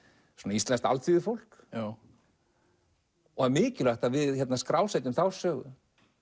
íslenskt alþýðufólk það er mikilvægt að við skrásetjum þá sögu